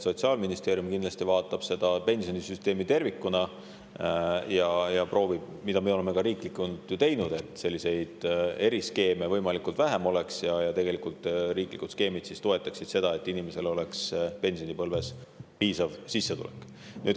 Sotsiaalministeerium kindlasti vaatab pensionisüsteemi tervikuna ja, mida me oleme ka riiklikult teinud: et selliseid eriskeeme oleks võimalikult vähe ja et tegelikult riiklik skeem toetaks seda, et inimestel oleks pensionipõlves piisav sissetulek.